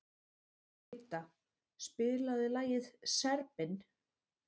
Idda, spilaðu lagið „Serbinn“.